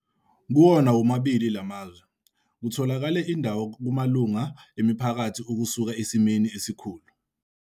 "Kuwona womabili la mazwe, kutholakele indawo kumalungu emiphakathi ukusuka esimeni esikhulu.